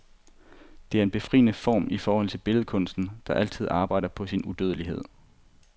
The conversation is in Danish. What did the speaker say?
Det er en befriende form i forhold til billedkunsten, der altid arbejder på sin udødelighed.